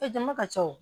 E jama ka ca wo